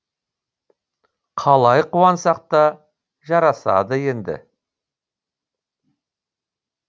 қалай қуансақ та жарасады енді